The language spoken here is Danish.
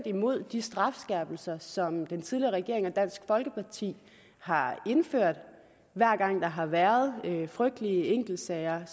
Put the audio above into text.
imod de strafskærpelser som den tidligere regering og dansk folkeparti har indført hver gang der har været frygtelige enkeltsager